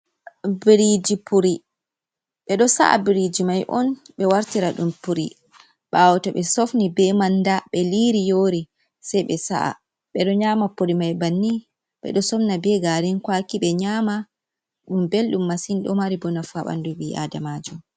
Biriiji puri, ɓe ɗo sa’a biriiji mai on ɓe wartira ɗum puri, ɓaawo to ɓe sofni be man da, ɓe liiri yoori sai ɓe sa'a ɓeɗo nyama puri mai banni, ɓe ɗo somna be gaarin kwaki be nyama, ɗum belɗum masin ɗo mari boo nafu boo haa ɓandu bii'adamaajo.